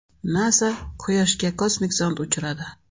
NASA Quyoshga kosmik zond uchiradi .